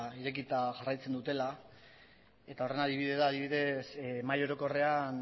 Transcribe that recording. irekita jarraitzen dutela adibidez mahai orokorrean